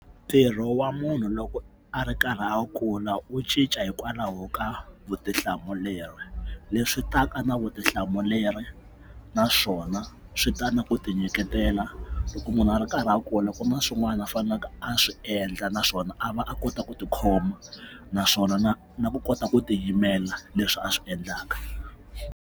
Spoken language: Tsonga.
Ntirho wa munhu loko a ri karhi a kula wu cinca hikwalaho ka vutihlamuleri leswi ta ka na vutihlamuleri naswona swi ta na ku tinyiketela loko munhu a ri karhi a kula loko ma swin'wana a faneleke a swi endla naswona a va a kota ku tikhoma naswona na na ku kota ku tiyimela leswi a swi endlaka.